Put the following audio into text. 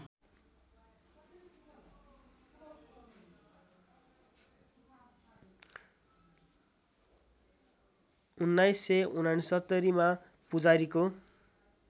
१९६९ मा पुजारीको